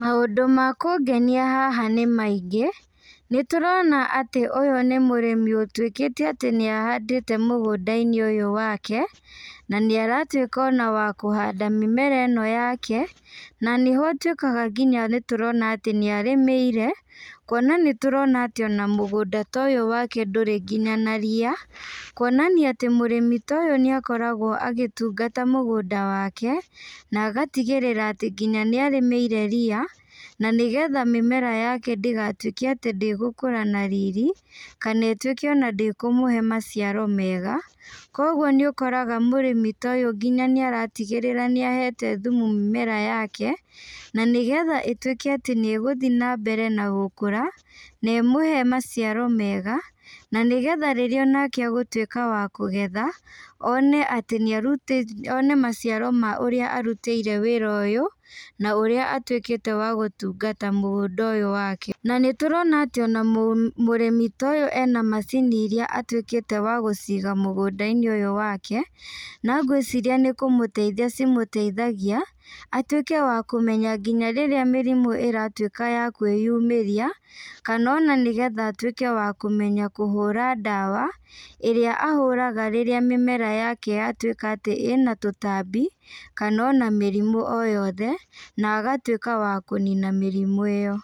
Maũndũ makũngenia haha nĩmaingĩ, nĩtũrona atĩ ũyũ nĩ mũrĩmi ũtuĩkĩte atĩ nĩahandĩte mũgũndainĩ ũyũ wake, na nĩaratuĩka ona wa kũhanda mĩmera ĩno yake, na nĩho ũtuĩkaga nginya nĩtũrona atĩ nĩarĩmĩire, kuona nĩtũrona atĩ ona mũgũnda ta ũyũ wake ndũrĩ nginya na ria, kuonania atĩ mũrĩmi ta ũyũ nĩakoragwo agĩtungata mũgũnda wake, na agatigĩrĩra atĩ nginya nĩarĩmĩire ria, na nĩgetha mĩmera yake ndĩgatuĩke atĩ ndĩgũkũra na riri, kana ĩtuĩke ona ndĩkũmũhe maciaro mega, koguo nĩũkoraga mũrĩmi ta ũyũ nginya nĩaratigĩrĩra nĩahete thumu mĩmera yake, na nĩgetha ĩtuĩke atĩ nĩgũthi nambere na gũkũra, na ĩmũhe maciaro mega, na nĩgetha rĩrĩa onake agũtuĩka wa kũgetha, one atĩ nĩarutĩte one maciaro ma ũrĩa arutĩire wĩra ũyũ, na ũrĩa atuĩkĩte wa gũtungata mũgũnda ũyũ wake. Na nĩturona atĩ ona mũrĩmi ta ũyũ ena macini iria atuĩkĩte wa gũciga mũgũndainĩ ũyũ wake, na ngwĩciria nĩkũmũteithia cimũteithagia, atuĩke wa kũmenya nginya rĩrĩa mĩrimũ ĩratuĩka ya kwĩyumĩria, kana ona nĩgetha atuĩke wa kũmenya kũhũra ndawa, ĩrĩa ahũraga rĩrĩa mĩmera yake yatuĩka atĩ ĩna tũtambi, kana ona mĩrimũ o yothe, na agatuĩka wa kũnina mĩrimũ ĩyo.